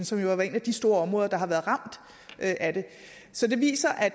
som jo har været et af de store områder der har været ramt af det så det viser at